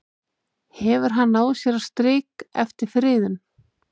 Hefur hann náð sér á strik eftir friðun?